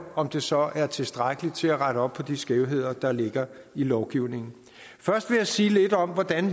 om det så er tilstrækkeligt til at rette op på de skævheder der ligger i lovgivningen først vil jeg sige lidt om hvordan